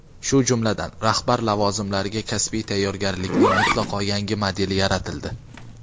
shu jumladan rahbar lavozimlariga kasbiy tayyorgarlikning mutlaqo yangi modeli yaratildi.